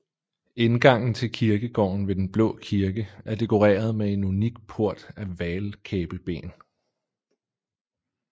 Indgangen til kirkegården ved den Blå Kirke er dekoreret med en unik port af hval kæbeben